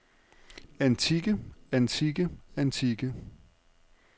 antikke antikke antikke